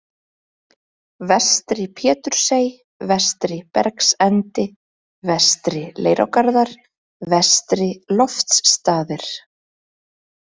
Vestri Pétursey, Vestri-Bergsendi, Vestri-Leirárgarðar, Vestri-Loftsstaðir